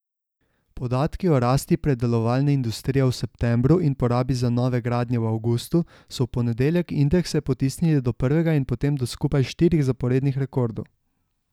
Podatki o rasti predelovalne industrije v septembru in porabi za nove gradnje v avgustu so v ponedeljek indekse potisnili do prvega od potem do skupaj štirih zaporednih rekordov.